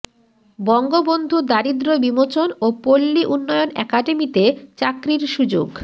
বঙ্গবন্ধু দারিদ্র বিমোচন ও পল্লী উন্নয়ন একাডেমিতে চাকরির সুযোগ